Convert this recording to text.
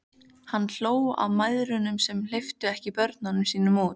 Hann hló að mæðrunum sem ekki hleyptu börnunum sínum út.